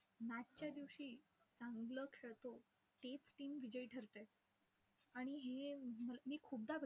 Match च्या दिवशी, चांगलं खेळतो तेच team विजयी ठरते. आणि हे मी खूपदा